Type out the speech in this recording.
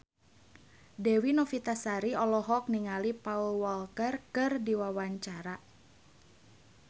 Dewi Novitasari olohok ningali Paul Walker keur diwawancara